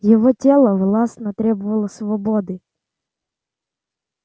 его тело властно требовало свободы